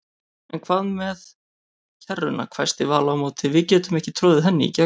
En hvað með kerruna hvæsti Vala á móti, við getum ekki troðið henni í gegn